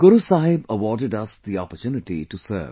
Guru Sahib awarded us the opportunity to serve